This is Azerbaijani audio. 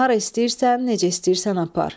Hara istəyirsən, necə istəyirsən apar.